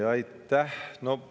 Aitäh!